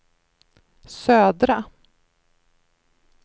södra